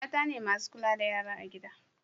mata ne masu kula da yara a gida